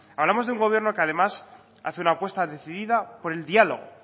hablamos de un gobierno que además hace una apuesta decidida por el diálogo